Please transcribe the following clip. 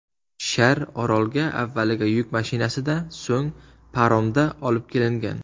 Shar orolga avvaliga yuk mashinasida, so‘ng paromda olib kelingan.